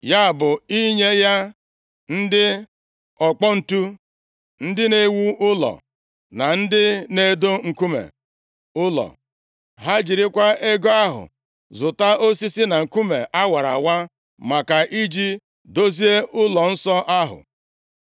ya bụ, inye ya ndị ọkpọ ǹtu, ndị na-ewu ụlọ, na ndị na-edo nkume ụlọ. Ha jirikwa ego ahụ zụta osisi na nkume a wara awa, maka i ji dozie ụlọnsọ ahụ.